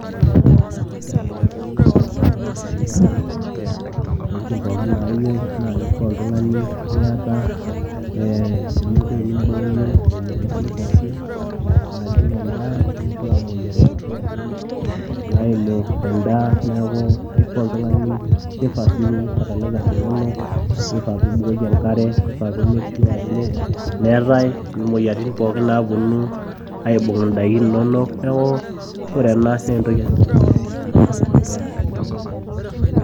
Ore irreteni looyiu ashu Intokitin pookin nayiu naa keifaa oltung'ani niata ee ening'o enibooyo emoyiaritin pookin naajing' endaa ashu imoyiaritin pookin naiimu endaa neeku keifaa oltung'ani keifaa sii piipik fatalaisa inonok neifaa sii pee Ibukoki enk'are nimek sua ajo meetae imoyiaritin naaponu aajing' indaiki inonok neeku ore ena naa entoki etipat oleng' too iltung'anak loiremisho.